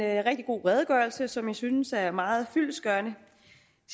rigtig god redegørelse som jeg synes er meget fyldestgørende